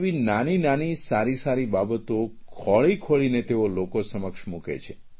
એવી નાનીનાની સારીસારી બાબતો ખોળીખોળીને તેઓ લોકો સમક્ષ મૂકે છે